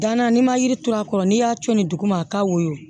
Danna n'i ma yiri turu a kɔrɔ n'i y'a to ni dugu ma a ka woyo